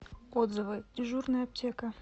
отзывы дежурная аптека